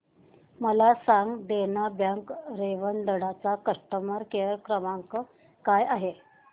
मला सांगा देना बँक रेवदंडा चा कस्टमर केअर क्रमांक काय आहे